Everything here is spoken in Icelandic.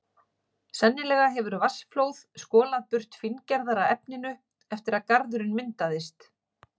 Sennilega hefur vatnsflóð skolað burt fíngerðara efninu eftir að garðurinn myndaðist.